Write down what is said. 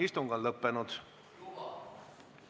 Istung on lõppenud.